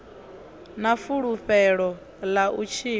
na fulufhelo ḽa u tshila